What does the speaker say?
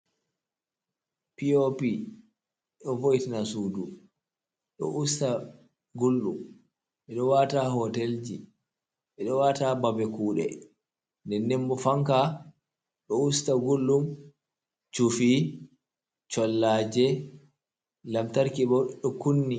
Pop voitna sudu ɗo usta gullɗum, ɓeɗo wata hoti ji ɓeɗo wata babe kude, nden ndenbo fanka ɗo usta gullɗum chufi collaje, lamtarki ɓo ɗo kunni.